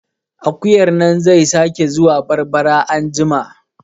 Akuyan nan zai sake zuwa barbara anjima